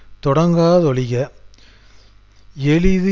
அகற்றுதல் என்னும்வின் முடிவு நிறுவனம் துணை நிறுவனங்களுடன்